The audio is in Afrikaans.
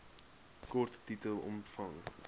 kort titel omvang